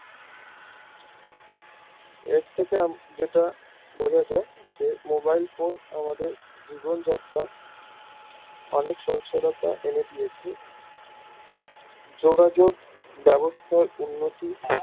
এর থেকে যেটা বোঝা যাই যে mobilephone আমাদের জীবন যাত্রা অনেক সচ্ছলতা এনে দিয়েছে যোগাযোগ ব্যাবস্থায় উন্নতি